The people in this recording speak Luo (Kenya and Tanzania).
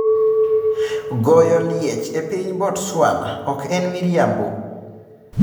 Goyo liech e piny Botswana 'ok en miriambo'